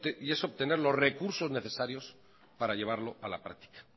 y es obtener los recursos necesarios para llevarlo a la práctica